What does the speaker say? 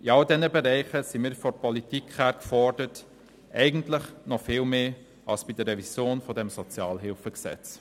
In all diesen Bereichen sind wir vonseiten der Politik gefordert, eigentlich noch viel mehr als bei der Revision des SHG.